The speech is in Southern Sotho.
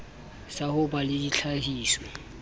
sa ho ba le ditlhahiso